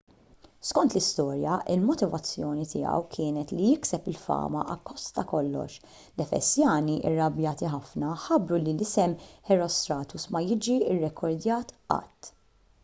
skont l-istorja il-motivazzjoni tiegħu kienet li jikseb il-fama akkost ta' kollox l-efesjani irrabjati ħafna ħabbru li isem herostratus ma jiġi rrekordjat qatt